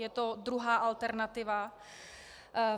Je to druhá alternativa.